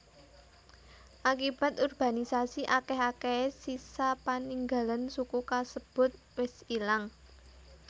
Akibat urbanisasi akèh akèhé sisa paninggalan suku kasebut wis ilang